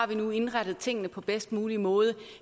vi nu har indrettet tingene på bedst mulig måde